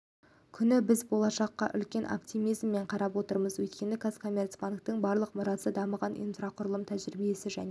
күні біз болашаққа үлкен оптимизммен қарап отырмыз өйткені қазкоммерцбанктің барлық мұрасы дамыған инфрақұрылымы тәжірибесі және